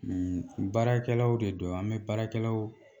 baarakɛlaw de don an bɛ baarakɛlaw